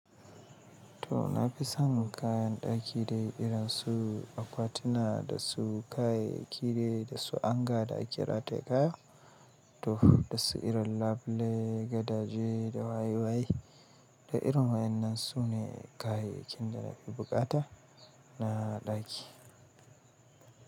To, nafi son kayan ɗaki dai irin su akwatuna, da su kayayyaki dai, dasu hanger da ake rataye kaya. To da su irin labule, gadaje da waye waye. Da irin wa'innan su ne kayayyakin da na fi buƙata na ɗaki.